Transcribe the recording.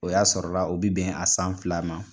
O y'a sɔrɔra u bi bɛn a san fila ma